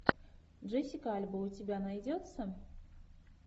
джессика альба у тебя найдется